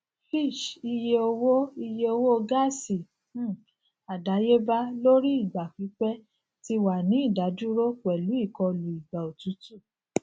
fitch iye owo iye owo gaasi um adayeba lori igba pipẹ ti wa ni idaduro pelu ikọlu igba otutu